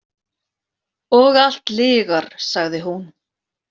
Og allt lygar, sagði hún.